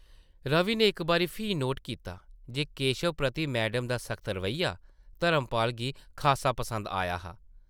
रवि नै इक बारी फ्ही नोट कीता जे केशव प्रति मैडम दा सख्त रवैया धर्मपाल गी खासा पसंद आया हा ।